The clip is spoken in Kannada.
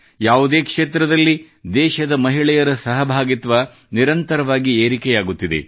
ಯಾವುದೇ ಕ್ಷೇತ್ರದಲ್ಲಿ ದೇಶದ ಮಹಿಳೆಯರ ಸಹಭಾಗಿತ್ವ ನಿರಂತರವಾಗಿ ಏರಿಕೆಯಾಗುತ್ತಿದೆ